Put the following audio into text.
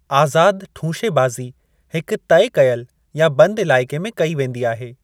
आज़ाद ठूंशेबाज़ी हिक तइ कयलु या बंदि इलाइक़े में कई वेंदी आहे।